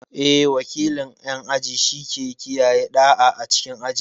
Eh, wakilin ƴan aji shike kiyaye ɗa'a a cikin aji.